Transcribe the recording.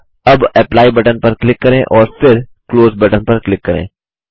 अब apply button पर click करें और फिर क्लोज बटन पर क्लिक करें